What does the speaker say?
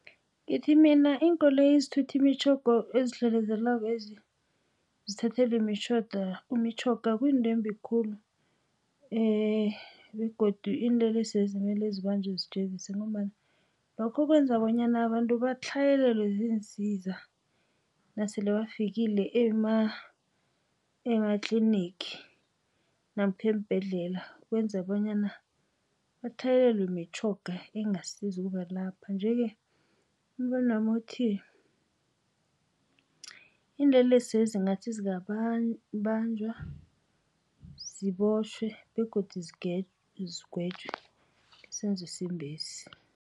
Ngithi mina iinkoloyi ezithutha imitjhoga ezidlelezelakwezi zithathelwe imitjhoga kuyinto embi khulu begodu iinlelesezi mele zibanjwa zijeziswe ngombana lokho kwenza bonyana abantu batlhayelelwe ziinsiza nasele bafikile ematlinigi namkha eembhedlela kwenza bonyana batlhayelelwe mitjhoga engasiza ukubalapha. Njeke umbonwami uthi iinlelesezi ngathi zingabanjwa, zibotjhwe begodu zigwetjwe ngesenzo esimbesi.